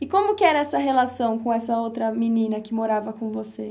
E como que era essa relação com essa outra menina que morava com você?